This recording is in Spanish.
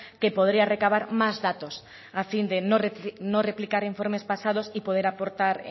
que podría recabar más datos a fin de no replicar informes pasados y poder aportar